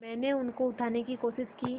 मैंने उनको उठाने की कोशिश की